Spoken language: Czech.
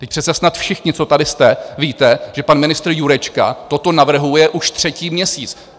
Vždyť přece snad všichni, co tady jste, víte, že pan ministr Jurečka toto navrhuje už třetí měsíc.